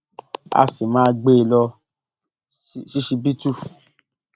a sì máa gbé e lọ ṣíṣíbítù